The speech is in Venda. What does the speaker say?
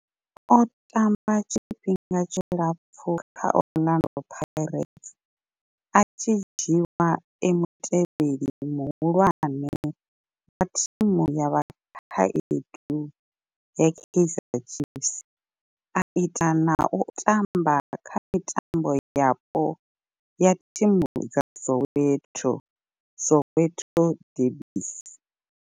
O tamba tshifhinga tshilapfhu kha Orlando Pirates, a tshi dzhiiwa e mutevheli muhulwane wa thimu ya vhakhaedu ya Kaizer Chiefs, a ita na u tamba kha mitambo yapo ya thimu dza Soweto Soweto derbies.